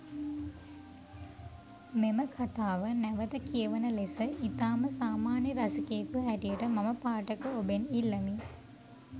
මෙම කතාව නැවත කියවන ලෙස ඉතාම සාමාන්‍යය රසිකයෙකු හැටියට මම පාඨක ඔබෙන් ඉල්ලමි.